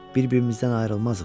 Bir-birimizdən ayrılmazıq.